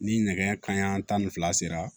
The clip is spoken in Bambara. Ni nɛgɛ kanɲɛ tan ni fila sera